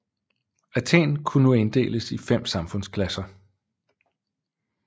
Athen kunne nu inddeles i fem samfundsklasser